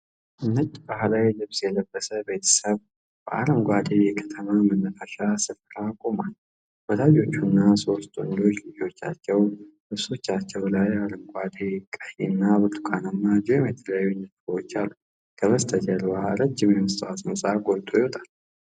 ነጭ ባህላዊ ልብስ የለበሰ ቤተሰብ በአረንጓዴ የከተማ መናፈሻ ስፍራ ቆሟል። ወላጆችና ሦስት ወንዶች ልጆቻቸው ልብሶቻቸው ላይ አረንጓዴ፣ ቀይና ብርቱካናማ ጂኦሜትሪያዊ ንድፎች አሉ። ከበስተጀርባ ረዥም የመስታወት ሕንጻ ጎልቶ ይወጣል።